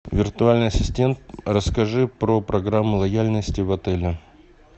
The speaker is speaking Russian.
виртуальный ассистент расскажи про программу лояльности в отеле